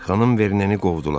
Xanım Verneyi qovdular.